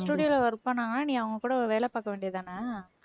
studio ல work பண்ணாங்கன்னா நீ அவங்க கூட வேலை பார்க்க வேண்டியதுதானே